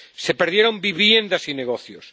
Se perdieron viviendas y negocios.